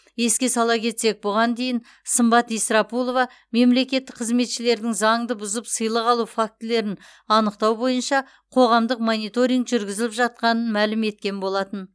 еске сала кетсек бұған дейін сымбат исрапулова мемлекеттік қызметшілердің заңды бұзып сыйлық алу фактілерін анықтау бойынша қоғамдық мониторинг жүргізіліп жатқанын мәлім еткен болатын